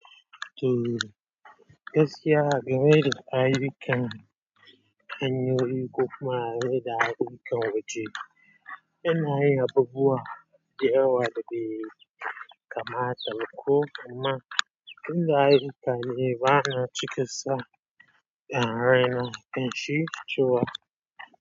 To, gaskiya, game da kayikan hanyoyin ko kuma game da kayikan waje. Yanayin abubuwa da yawa da bai kama ta ba ko amma inda ayyikan ne bana cika sa da raina in shi ciwa.